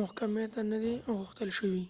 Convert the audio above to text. محکمی ته نه دي غوښتل شوي